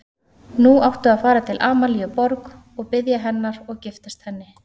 Nú áttu að fara til Amalíu Borg og biðja hennar og giftast henni.